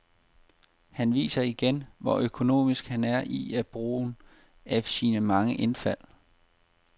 Han viser igen, hvor økonomisk han er i brugen af sine mange indfald.